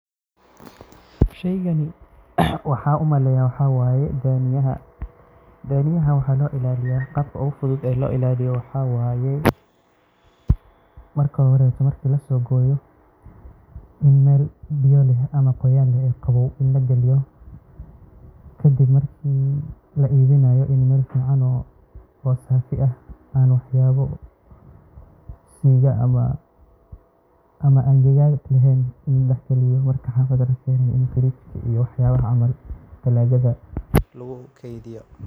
Sheygan waxaa umaleyaa waxaa waye dhaniyaha, dhaniyaha waxaa loo ilaaliyaa, qabka oogu fudud oo loo ilaaliyo waxaa waye, marki hore marki lasoo hooyo, in meel biya leh ama qaboow lagaliyo, kadib marki la iibinaayo, in meel fican oo saafi ah aan waxbo siiga ah leheen lagu dex iibiyo, marki xafada lakeeno in talaagada lagu keediyo.